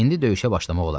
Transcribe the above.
İndi döyüşə başlamaq olardı.